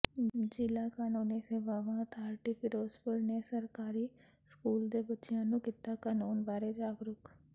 ਜ਼ਿਲ੍ਹਾ ਕਾਨੂੰਨੀ ਸੇਵਾਵਾਂ ਅਥਾਰਿਟੀ ਫ਼ਿਰੋਜ਼ਪੁਰ ਨੇ ਸਰਕਾਰੀ ਸਕੂਲ ਦੇ ਬੱਚਿਆਂ ਨੂੰ ਕੀਤਾ ਕਾਨੂੰਨ ਬਾਰੇ ਜਾਗਰੂਕ